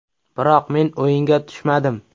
Biroq men o‘yinga tushmadim.